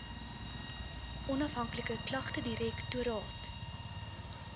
onafhanklike klagtedirek toraat